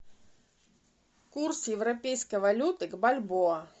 курс европейской валюты к бальбоа